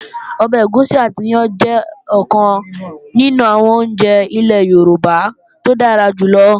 Ọbẹ̀ ẹ̀gúsí àti iyán jẹ́ ọ̀kan nínú àwọn oúnjẹ ilẹ́ Yorùbá tó dára jù lọ